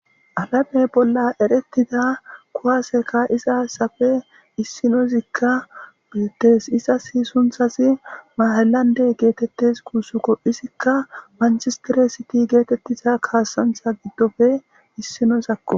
Alamey bolla erettida kuwaaseka iza ssafe issinozikka biettes izasi sunthasi mahelande geetettes kuussukko izikka manchistere siti geetettiza kaasantha giddofe issinosakko.